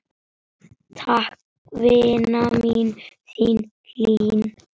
Takk, vina mín, þín Hlín.